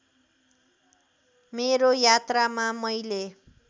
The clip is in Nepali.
मेरो यात्रामा मैले